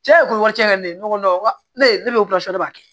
Cɛ ko wari cɛn na ne ko ne ne bɛ ne b'a kɛ